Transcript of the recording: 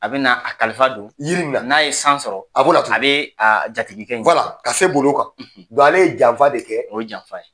A bɛ na a kalifa don yiri in na n'a ye san sɔrɔ a b'o latunu a bɛ a jatigi kɛ ka se boli o kan ale ye janfa de kɛ o ye janfa ye.